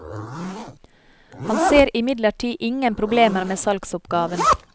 Han ser imidlertid ingen problemer med salgsoppgaven.